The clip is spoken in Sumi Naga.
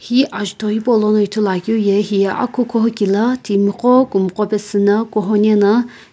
hi ajutho hipaulono ithuluakeu ye hiye akukuhouki la timiqo kumqo pesuna kuhou nena.